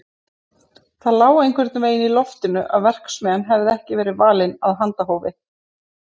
Það lá einhvern veginn í loftinu að verksmiðjan hefði ekki verið valin af handahófi.